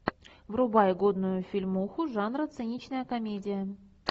врубай годную фильмуху жанра циничная комедия